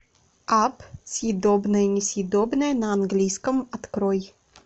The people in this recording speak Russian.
апп съедобное несъедобное на английском открой